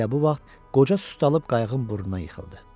Elə bu vaxt qoca sustalıb qayığın burnuna yıxıldı.